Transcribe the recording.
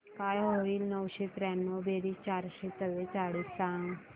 काय होईल नऊशे त्र्याण्णव बेरीज चारशे चव्वेचाळीस सांग